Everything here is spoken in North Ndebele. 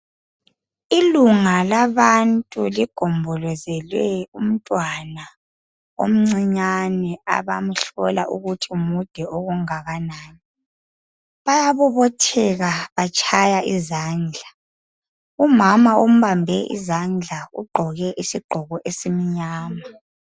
Ilunga labantu ligombolozele umntwana omncinyane. Abamhlola ukuthi mude kangakanani. Bayabobotheka, batshaya izandla. Umama ombambe izandla, ugqoke isigqoko esimnyama,